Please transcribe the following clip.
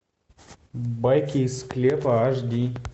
байки из склепа аш ди